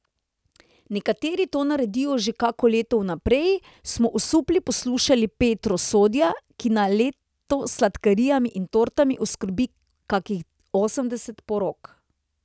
Nekateri to naredijo že kako leto vnaprej, smo osupli poslušali Petro Sodja, ki na leto s sladkarijami in tortami oskrbi kakih osemdeset porok.